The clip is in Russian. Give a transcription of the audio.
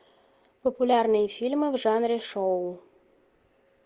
популярные фильмы в жанре шоу